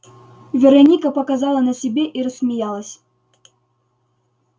вероника показала на себе и рассмеялась